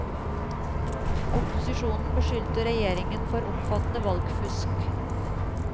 Opposisjonen beskyldte regjeringen for omfattende valgfusk.